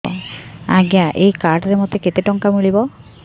ଆଜ୍ଞା ଏଇ କାର୍ଡ ରେ ମୋତେ କେତେ ଟଙ୍କା ମିଳିବ